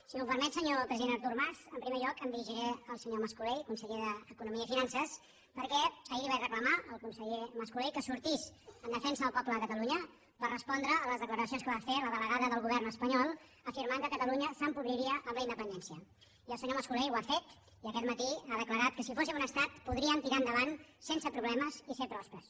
si m’ho permet senyor president artur mas en primer lloc em dirigiré al senyor mascolell conseller d’economia i finances perquè ahir li vaig reclamar al conseller mascolell que sortís en defensa del poble de catalunya per respondre a les declaracions que va fer la delegada del govern espanyol afirmant que catalunya s’empobriria amb la independència i el senyor mascolell ho ha fet i aquest matí ha declarat que si fóssim un estat podríem tirar endavant sense problemes i ser pròspers